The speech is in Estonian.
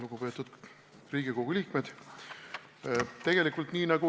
Lugupeetud Riigikogu liikmed!